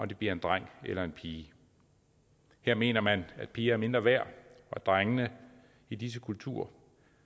det bliver en dreng eller en pige her mener man at piger er mindre værd og drengene i disse kulturer